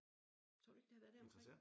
Tror du ikke det har været deromkring?